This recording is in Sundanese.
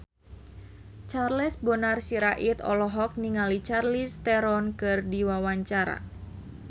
Charles Bonar Sirait olohok ningali Charlize Theron keur diwawancara